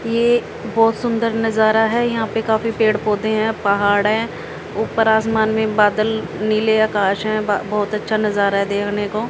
ये बहोत सुंदर नजारा है यहां पे काफी पेड़ पौधे हैं पहाड़ है ऊपर आसमान में बादल नीले आकाश हैं ब बहुत अच्छा नजारा है देखने को।